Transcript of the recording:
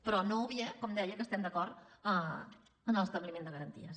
però no obvia com deia que estem d’acord amb l’establiment de garanties